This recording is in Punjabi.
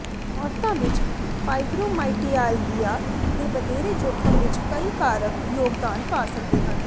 ਔਰਤਾਂ ਵਿੱਚ ਫਾਈਬਰੋਮਾਈਆਲਗੀਆ ਦੇ ਵਧੇਰੇ ਜੋਖਮ ਵਿੱਚ ਕਈ ਕਾਰਕ ਯੋਗਦਾਨ ਪਾ ਸਕਦੇ ਹਨ